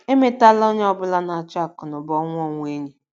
Emetela onye ọ bụla na - achụ akụnụba ọnwụ ọnwụ enyi.